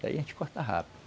Daí a gente corta rápido.